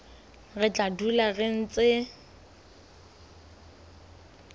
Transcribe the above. re tla dula re ntse